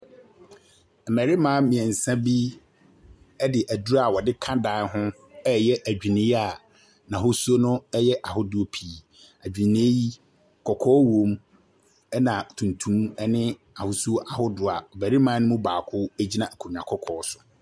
Mmarima mmiɛnsa bi de aduru a wɔde ka dan ho, reyɛ adwini n'ahosuo yɛ ahodoɔ pii. Adwini yi, kɔkɔɔ wɔ mu, na tuntum ne ahosuo ahodoɔ barima no mu baako gyina n'akokoɔ so.